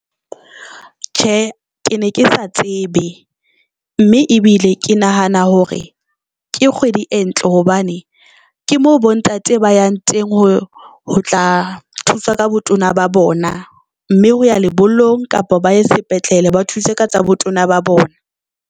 Tjhe, ke ne ke sa tsebe mme ebile ke nahana hore ke kgwedi e ntle. Hobane ke mo bontate ba yang teng ho tla thusa ka botona ba bona, mme ho ya lebollong kapa ba ye sepetlele, ba thuse ka tsa botona ba bona.